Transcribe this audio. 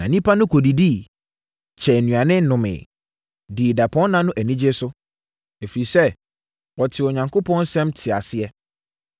Na nnipa no kɔdidiiɛ, kyɛɛ nnuane, nomeeɛ, dii dapɔnna no anigyeɛ so, ɛfiri sɛ, wɔtee Onyankopɔn nsɛm, tee aseɛ.